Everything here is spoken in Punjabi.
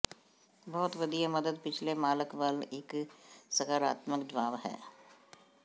ਬਹੁਤ ਵਧੀਆ ਮਦਦ ਪਿਛਲੇ ਮਾਲਕ ਵੱਲ ਇੱਕ ਸਕਾਰਾਤਮਕ ਜਵਾਬ ਹੈ